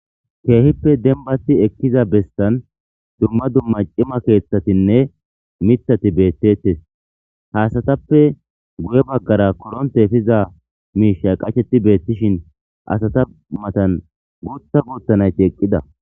Keehippe denbati ekkiza bestan dumma dumma ciimma keeththatinne miththati beettettes haasatappe guye baggara koronte efiza miishsha qachetti beettishin asata matan guuththa guutta nayti eqqida